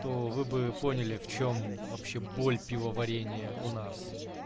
что вы бы поняли в чем вообще боль пивоварении у нас